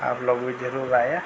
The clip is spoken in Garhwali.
आप लोग भी जरूर आयां।